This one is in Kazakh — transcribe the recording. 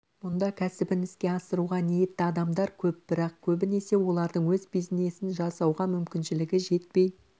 мұнда кәсібін іске асыруға ниетті адамдар көп бірақ көбінесе олардың өз бизнесін жасауға мүмкіншілігі жетпей